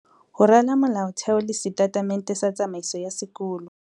Ho rala molaotheo le setatemente sa tsamaiso ya sekolo.